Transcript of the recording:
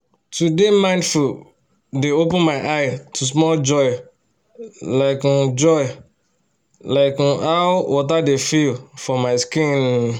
to dey mindful dey open my eye to small joy like um joy like um how water dey feel for my skin um